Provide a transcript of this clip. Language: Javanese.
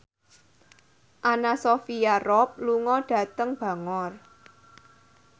Anna Sophia Robb lunga dhateng Bangor